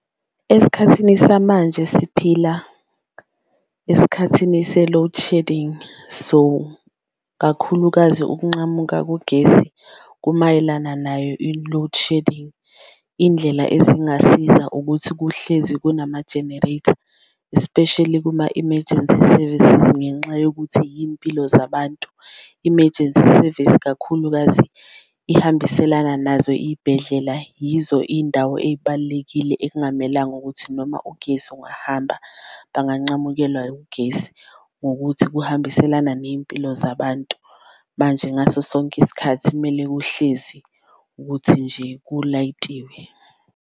Esikhathini samanje siphila esikhathini se-load shedding so, kakhulukazi ukunqamuka kogesi kumayelana nayo i-loadshedding, indlela ezingasiza ukuthi kuhlezi kunama-generator especially kuma-emergency service ngenxa yokuthi yimpilo zabantu. Emergency service kakhulukazi uhambiselana nazo iy'bhedlela yizo iy'ndawo ey'balulekile ekungamelanga ukuthi noma ugesi ungahamba banganqamukelwa ugesi ngokuthi kuhambiselana ney'mpilo zabantu. Manje ngaso sonke isikhathi kumele kuhlezi ukuthi nje kulayitiwe.